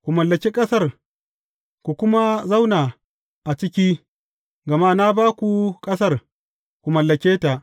Ku mallaki ƙasar, ku kuma zauna a ciki, gama na ba ku ƙasar, ku mallake ta.